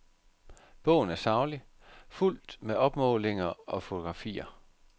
Bogen er saglig, fuldt med opmålinger og fotografier.